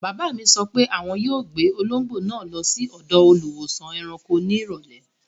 Bàbá mi sọ pé àwọn yóò gbé olóńgbò náà lọ sí ọ̀dọ̀ Olùwósàn-ẹranko ní ìrọ̀lẹ́.